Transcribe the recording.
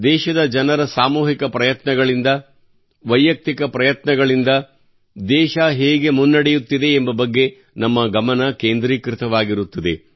ದೇಶದ ಜನರ ಸಾಮೂಹಿಕ ಪ್ರಯತ್ನಗಳಿಂದ ವೈಯಕ್ತಿಕ ಪ್ರಯತ್ನಗಳಿಂದ ದೇಶ ಯಾವರೀತಿ ಪ್ರಗತಿ ಸಾಗುತ್ತಿದೆ ಎಂಬ ಬಗ್ಗೆ ನಮ್ಮ ಗಮನ ಕೇಂದ್ರೀಕೃತವಾಗಿರುತ್ತದೆ